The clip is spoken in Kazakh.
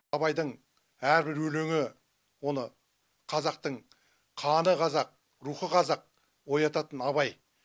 абайдың әрбір өлеңі оны қазақтың қаны қазақ рухы қазақ оятатын абай